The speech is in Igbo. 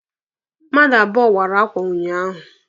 Mmadụ abụọ wara akwa unyaahụ.